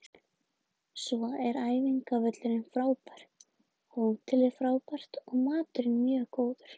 Svo er æfingavöllurinn frábær, hótelið frábært og maturinn mjög góður.